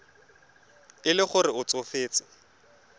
e le gore o tsofetse